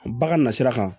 Ba ka na sira kan